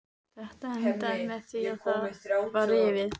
Þetta endaði með því að það var rifið.